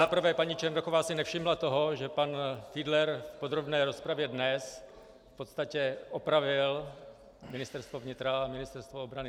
Za prvé paní Černochová si nevšimla toho, že pan Fiedler v podrobné rozpravě dnes v podstatě opravil Ministerstvo vnitra a Ministerstvo obrany.